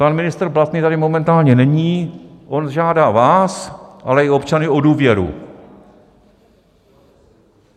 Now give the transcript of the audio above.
Pan ministr Blatný tady momentálně není, on žádá vás, ale i občany o důvěru.